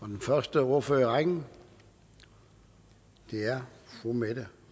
den første ordfører i rækken er fru mette